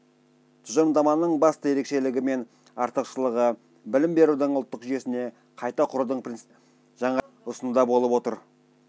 тұжырымдаманың басты ерекшелігі мен артықшылығы білім берудің ұлттық жүйесін қайта құрудың принципті жаңа идеяларын ұсынуында болып отыр